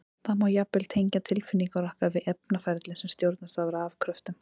Það má jafnvel tengja tilfinningar okkar við efnaferli sem stjórnast af rafkröftum!